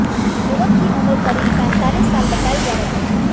युवक की उम्र करीब पैंतीस साल बताई जा रही है